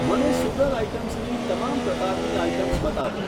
મને સુગર આઇટમ્સની તમામ પ્રકારની આઇટમ્સ બતાવો.